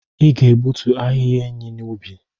Ị ga-egbutu ahịhịa enyí n'ubi!